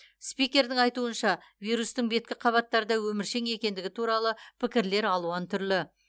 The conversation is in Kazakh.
спикердің айтуынша вирустың беткі қабаттарда өміршең екендігі туралы пікірлер алуан түрлі